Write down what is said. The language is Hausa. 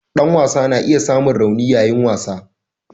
Dan wasa na iya samun rauni yayin wasa.